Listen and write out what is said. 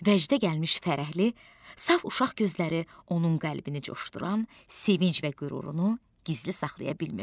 Vəcdə gəlmiş fərəhli, saf uşaq gözləri onun qəlbini coşduran sevinc və qürurunu gizli saxlaya bilmirdi.